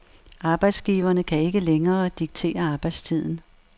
Arbejdsgiverne kan ikke længere diktere arbejdstiden.